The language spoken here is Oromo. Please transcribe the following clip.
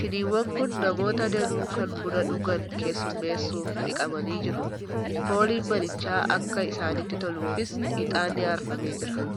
Shiniiwwan kun namoota danuu kan buna dhugan keessummeessuuf dhiqamanii jiru. Fooliin manichaa akka isaanitti toluufis ixaanni aarfamee jira.